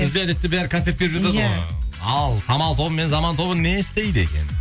күзде әдетте бәрі концерт беріп ал самал тобы мен заман тобы не істейді екен